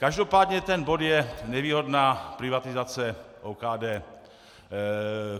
Každopádně ten bod je nevýhodná privatizace OKD.